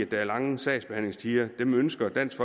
der er lange sagsbehandlingstider dem ønsker dansk